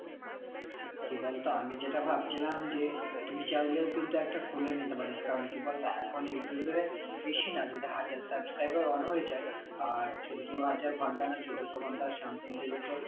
কি বলতো আমি যেটা ভাবছিলাম যে তুই চাইলেও কিন্তু একটা খুলে নিতে পারিস কারণ কি বলতো এখন ইউটিউবে বেশি না যদি হাজার subscriber on হয়ে যায় হয়ে যাই আর যদি চোদ্দ হাজার ঘন্তা বা চোদ্দশো ঘন্তা something যদি তোর